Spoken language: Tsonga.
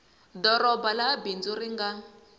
doroba laha bindzu ri nga